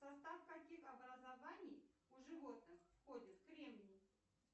в состав каких образований у животных входит кремний